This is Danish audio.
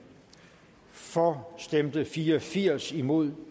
for stemte fire og firs imod